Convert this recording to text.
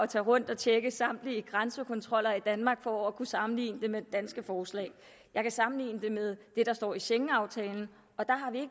tage rundt og tjekke samtlige grænsekontroller i danmark for at kunne sammenligne det med det danske forslag jeg kan sammenligne det med det der står i schengenaftalen og der har vi